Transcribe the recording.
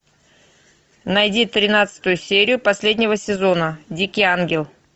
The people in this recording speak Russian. найди тринадцатую серию последнего сезона дикий ангел